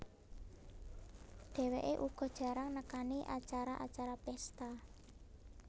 Dheweké uga jarang nekani acara acara pesta